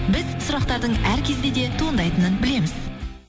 біз сұрақтардың әр кезде де туындайтынын білеміз